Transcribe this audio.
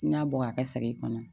N'a bɔ a ka segin kɔnɔ